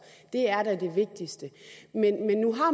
det er da det vigtigste